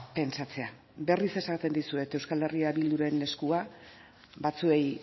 pentsatzea berriz esaten dizuet euskal herria bilduren eskua batzuei